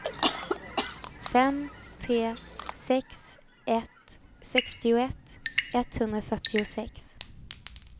fem tre sex ett sextioett etthundrafyrtiosex